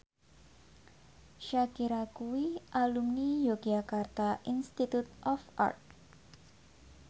Shakira kuwi alumni Yogyakarta Institute of Art